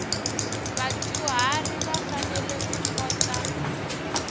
vadyuharhi va fanele ku kota